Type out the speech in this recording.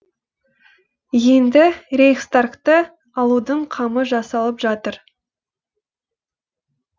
енді рейхстагты алудың қамы жасалып жатыр